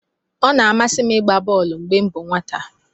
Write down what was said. Ọ na-amasị m ịgba bọolu mgbe m bụ nwata.